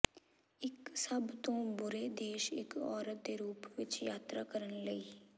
ਇੱਕ ਸਭ ਤੋਂ ਬੁਰੇ ਦੇਸ਼ ਇੱਕ ਔਰਤ ਦੇ ਰੂਪ ਵਿੱਚ ਯਾਤਰਾ ਕਰਨ ਲਈ